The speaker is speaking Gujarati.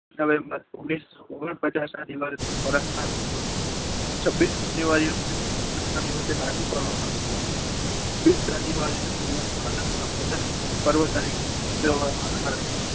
નવેમ્બર ઓગણીસો ઓગણપચાસ ના દિવસે થયો હતો ચાવીસ જાન્યુઆરી ઓગણીસો ઓગણપચાસના દિવસે લાગુ કરવામાં આવ્યો હતો. છવ્વીસ જાન્યુઆરીના દિવસે પ્રજાસત્તાક પર્વ તરીકે ઉજવવામાં આવે છે.